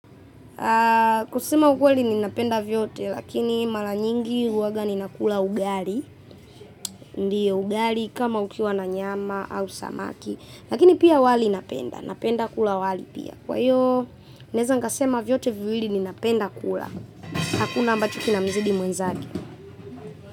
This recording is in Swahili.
Kusema ukweli ninapenda vyote, lakini mara nyingi huwaga ninakula ugali. Ndio, ugali kama ukiwa na nyama au samaki. Lakini pia wali napenda, napenda kula wali pia. Kwa hiyo naeza nikasema vyote viwili ninapenda kula. Hakuna ambacho kinamzidi mwenzake.